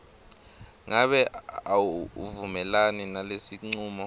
ngabe awuvumelani nalesincumo